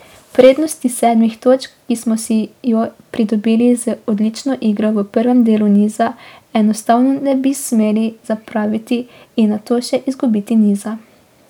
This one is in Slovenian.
Prednosti sedmih točk, ki smo si jo priborili z odlično igro v prvem delu niza, enostavno ne bi smeli zapraviti in nato še izgubiti niza.